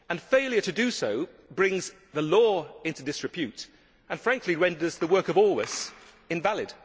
Failure to do so brings the law into disrepute and frankly renders the work of all us invalid.